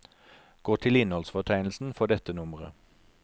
Gå til innholdsfortegnelsen for dette nummeret.